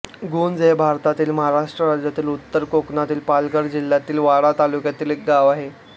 गुंज हे भारतातील महाराष्ट्र राज्यातील उत्तर कोकणातील पालघर जिल्ह्यातील वाडा तालुक्यातील एक गाव आहे